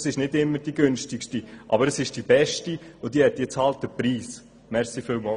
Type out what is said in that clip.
Das ist nicht immer die günstigste, es ist aber die beste Variante und sie hat halt den Preis erhalten.